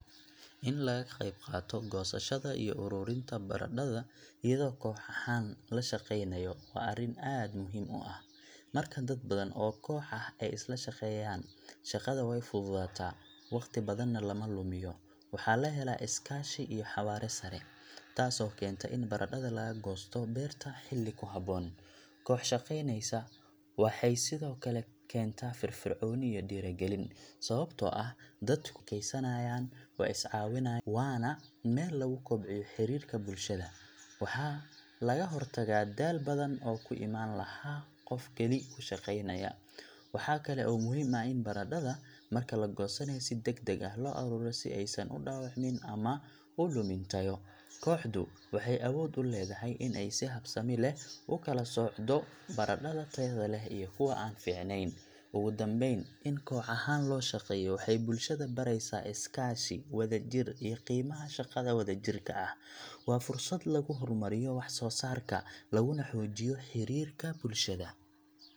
In la ga qayb qaato goosashada iyo ururinta baradhada iyadoo koox ahaan la shaqeynayo waa arrin aad muhiim u ah. Marka dad badan oo koox ah ay isla shaqeeyaan, shaqada way fududaataa, waqti badanna lama lumiyo. Waxaa la helaa is-kaashi iyo xawaare sare, taasoo keenta in baradhada laga goosto beerta xilli ku habboon. Koox shaqeynaysa waxay sidoo kale keentaa firfircooni iyo dhiirrigelin, sababtoo ah dadku way sheekeysanayaan, way is caawinayaan, waana meel lagu kobciyo xiriirka bulshada. Waxaa laga hortagaa daal badan oo ku imaan lahaa qof kali ku shaqeynaya. Waxaa kale oo muhiim ah in baradhada marka la goosanayo si degdeg ah loo ururiyo, si aysan u dhaawacmin ama u lumin tayo. Kooxdu waxay awood u leedahay in ay si habsami leh u kala soocdo baradhada tayada leh iyo kuwa aan fiicnayn. Ugu dambayn, in koox ahaan loo shaqeeyo waxay bulshada baraysaa is-kaashi, wadajir, iyo qiimaha shaqada wadajirka ah. Waa fursad lagu horumariyo wax-soosaarka, laguna xoojiyo xiriirka bulshada.